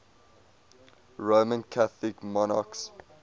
roman catholic monarchs